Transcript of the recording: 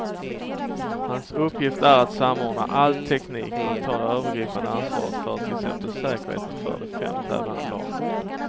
Hans uppgift är att samordna all teknik och ta det övergripande ansvaret för till exempel säkerheten för de fem tävlande lagen.